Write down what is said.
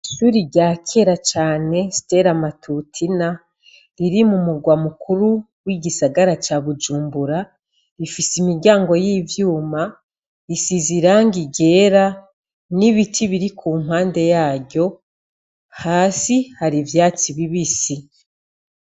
Ishure ryakera cane stera matutina riri mumurwa mukuru w'igisagara ca Bujumbura, rifise imiryango y'ivyuma risize irangi ryera n'ibiti biri kumpande yaryo, hasi hari ivyatsi bibisi.